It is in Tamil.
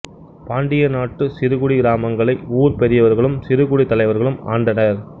பாண்டிய நாட்டு சிறுகுடி கிராமங்களை ஊர் பெரியவர்களும் சிறுகுடித்தலைவர்களும் ஆண்டனர்